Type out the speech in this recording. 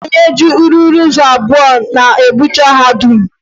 Onye ji ruuru ụzọ abụọ na-egwurucha ha dum.